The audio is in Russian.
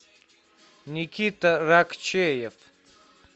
никита ракчеев